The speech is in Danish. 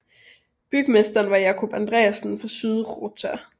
Bygmesteren var Jákup Andreassen fra Syðrugøta